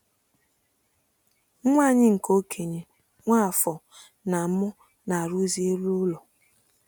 Nwa anyị nke okenye, Nwafor, na mụ na-arụzi elu ụlọ.